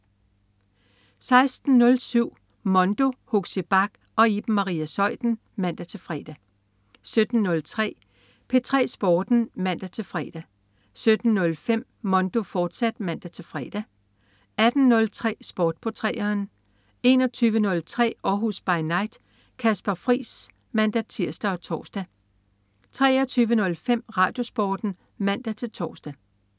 16.07 Mondo. Huxi Bach og Iben Maria Zeuthen (man-fre) 17.03 P3 Sporten (man-fre) 17.05 Mondo, fortsat (man-fre) 18.03 Sport på 3'eren 21.03 Århus By Night. Kasper Friis (man-tirs og tors) 23.05 RadioSporten (man-tors)